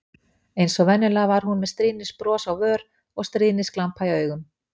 Eins og venjulega var hún með stríðnisbros á vör og stríðnisglampa í augum.